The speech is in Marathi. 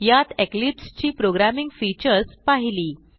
यात इक्लिप्स ची प्रोग्रॅमिंग फीचर्स पाहिली